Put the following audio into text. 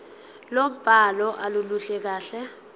lombhalo aluluhle kahle